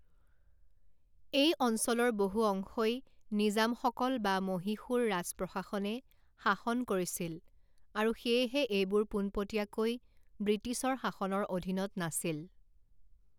এই অঞ্চলৰ বহু অংশই নিজামসকল বা মহীশূৰ ৰাজ প্ৰশাসনে শাসন কৰিছিল আৰু সেয়েহে এইবোৰ পোনপটীয়াকৈ ব্ৰিটিছৰ শাসনৰ অধীনত নাছিল।